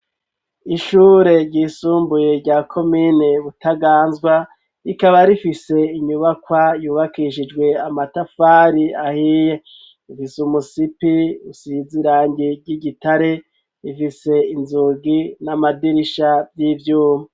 Ishure ry'isumbuye rya komine Butaganzwa rikaba rifise inyubakwa yubakishijwe amatafari ahiye rifise umusipi usize irangi ry'igitare rifise inzugi n'amadirisha vy'ivyuma.